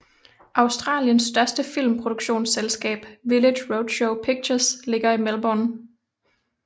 Australiens største filmproduktionsselskab Village Roadshow Pictures ligger i Melbourne